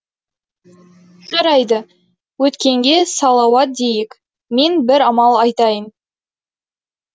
жарайды өткенге салауат дейік мен бір амал айтайын